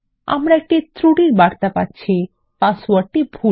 আমরা একটি ত্রুটির বার্তা পাবো পাসওয়ার্ডটি ভুল